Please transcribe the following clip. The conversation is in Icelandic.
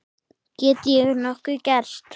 Get ég nokkuð gert?